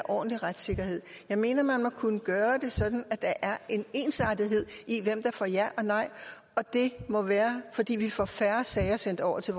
ordentlig retssikkerhed jeg mener at man må kunne gøre det sådan at der er en ensartethed i hvem der får ja og nej og det må være fordi vi får færre sager sendt over til